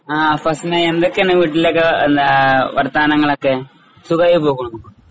ആ ഫസ്‌നയെന്തൊക്കെയാണ് വീട്ടിലൊക്കെ ആ ആ വർത്താനങ്ങളൊക്കെ. സുഖയിപോകണോ?